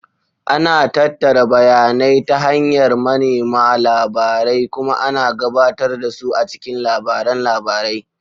Ana tattara bayanai ta hanyar manema labarai kuma ana gabatar da su a cikin labaran labarai.